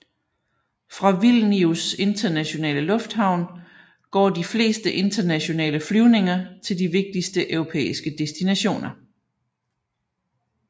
Fra Vilnius internationale lufthavn går de fleste internationale flyvninger til de vigtigste europæiske destinationer